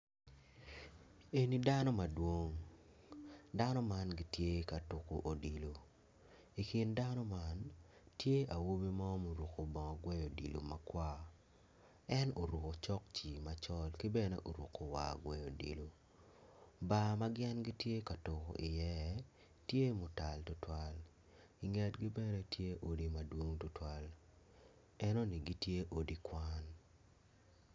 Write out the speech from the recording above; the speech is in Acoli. Eni dano madwong dano man gitye ka tuko odilo i kin dano man tye awobi mo ma oruko bongo gweyo odilo makwar en oruko cokci macol ki bedne oruko war gweyo odilo.